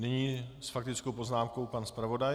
Nyní s faktickou poznámkou pan zpravodaj.